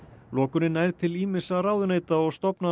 lokunin nær til ýmissa ráðuneyta og stofnana